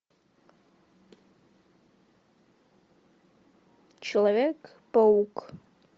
человек паук